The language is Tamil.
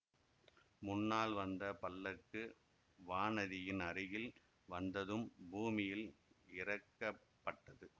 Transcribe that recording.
முன்னால் வந்த பல்லக்கு வானதியின் அருகில் வந்ததும் பூமியில் இறக்கப்பட்டது